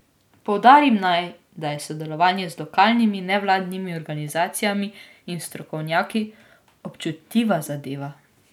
Poudarim naj, da je sodelovanje z lokalnimi nevladnimi organizacijami in strokovnjaki občutljiva zadeva.